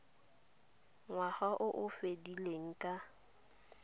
ngwaga o o fedileng ka